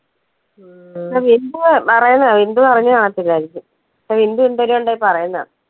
ബിന്ദു പറയുന്നതാ, ബിന്ദു അറിഞ്ഞുകാണത്തില്ലായിരിക്കും ബിന്ദു എന്തെലും ഉണ്ടേ പറയുന്നതാ.